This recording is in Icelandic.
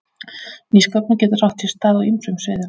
Nýsköpun getur átt sér stað á ýmsum sviðum.